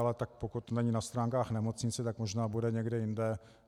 Ale tak pokud není na stránkách nemocnice, tak možná bude někde jinde.